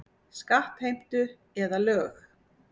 Skattheimtu eða lög.